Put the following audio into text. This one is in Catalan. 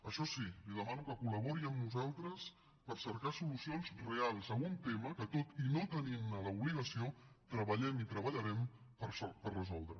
això sí li demano que collabori amb nosaltres per cercar solucions reals a un tema que tot i no tenintne l’obligació treballem i treballarem per resoldre